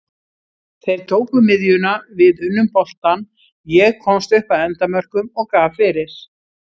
Þeir tóku miðjuna, við unnum boltann, ég komst upp að endamörkum og gaf fyrir.